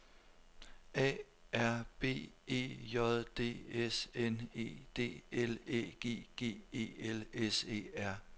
A R B E J D S N E D L Æ G G E L S E R